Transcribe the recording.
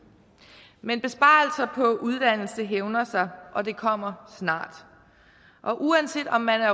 men besparelser på uddannelse hævner sig og det kommer snart og uanset om man er